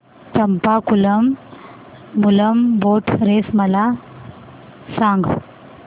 Champakulam Moolam boat race मला सांग